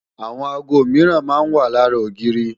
Àwọn aago mìíran máa ń wà lára ogiiri